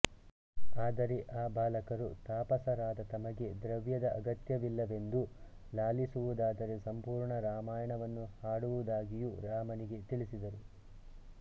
ಆದರೆ ಆ ಬಾಲಕರು ತಾಪಸರಾದ ತಮಗೆ ದ್ರವ್ಯದ ಅಗತ್ಯವಿಲ್ಲವೆಂದೂ ಲಾಲಿಸುವುದಾದರೆ ಸಂಪೂರ್ಣ ರಾಮಾಯಣವನ್ನು ಹಾಡುವುದಾಗಿಯೂ ರಾಮನಿಗೆ ತಿಳಿಸಿದರು